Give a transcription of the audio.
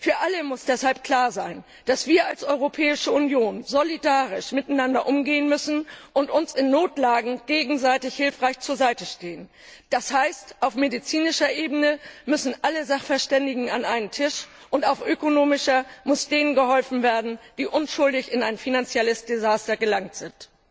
Für alle muss deshalb klar sein, dass wir als Europäische Union solidarisch miteinander umgehen müssen und uns in Notlagen gegenseitig helfend zur Seite stehen. Das heißt, auf medizinischer Ebene müssen alle Sachverständigen an einen Tisch und auf ökonomischer Ebene muss denen geholfen werden, die unschuldig in ein finanzielles Desaster geraten sind.